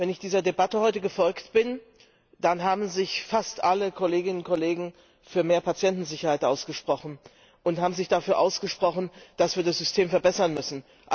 Wenn ich dieser Debatte heute gefolgt bin, dann haben sich fast alle Kolleginnen und Kollegen für mehr Patientensicherheit ausgesprochen und dafür, dass wir das System verbessern müssen.